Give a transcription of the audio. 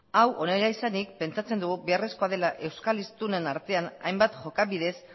hau honela izanik pentsatzen dugu beharrezkoa dela euskal hiztunen artean hainbat jokabidez